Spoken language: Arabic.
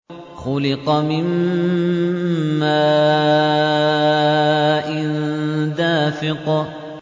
خُلِقَ مِن مَّاءٍ دَافِقٍ